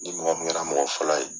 Ni mɔgɔ min kɛra mɔgɔ fɔlɔ ye.